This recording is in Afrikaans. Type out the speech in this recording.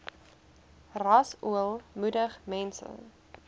rasool moedig mense